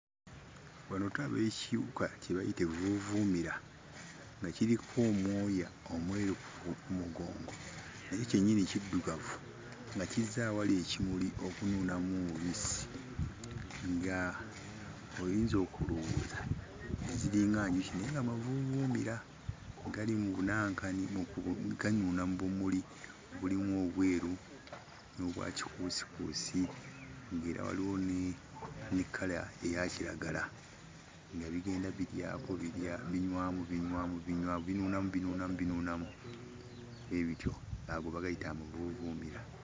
Wano tulaba ekiwuka kye bayita evvuuvuumira nga kiriko omwoya omweru ku mugongo nakyo kyennyini kiddugavu nga kizze ewali ekimuli okunuunamu omubisi nga oyinza okulowooza ziringa njuki naye nga mavuuvuumira. Gali mu bunankani ganuuna mu bumuli nga mulimu obweru n'obwa kikuusikuusi ng'era waliwo ne kkala eya kiragala nga bigenda biryako birya binywamu binywamu binywamu binuunamu binuunamu binuunamu bwe bityo. Ago bagayita amavuuvuumira.